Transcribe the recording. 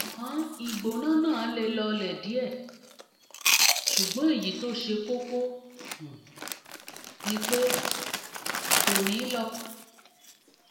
ńṣe ló dà bí ìgbà tí nǹkan kan ń gún ọ lára gan-an